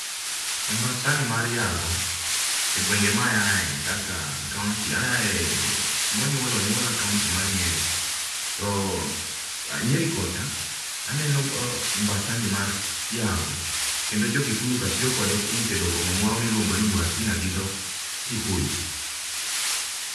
Ombasani mar yago. Egwenge ma aaye, kaka kaonti aaye, kuma onyuola onyuola e kaonti mar Nyeri to Nyeri kocha, aneno ombasani mar yago kendo jo Kikuyu ka tiyo kode e tedo kong'o moro miluongo ni muratina gi dho Kikuyu.